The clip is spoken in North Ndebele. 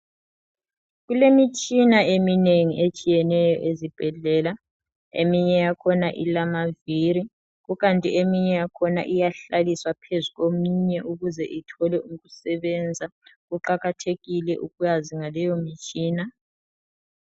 Kulemitshina eminengi etshiyeneyo ezibhedlela eminye yakhona ilamavili kukanti eminye yakhona iyahlaliswa phezulu kweminye ukuze ithole ukusebenza. Kuqakathekile ukwazi ngaleyo mtshina.